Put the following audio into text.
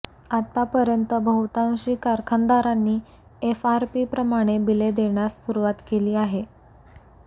आतापर्यंत बहुतांशी कारखानदारांनी एफआरपीप्रमाणे बिले देण्यास सुरवात केली आहे